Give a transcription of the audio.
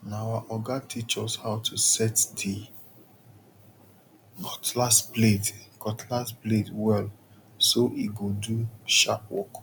na our oga teach us how to set the cutlass blade cutlass blade well so e go do sharp work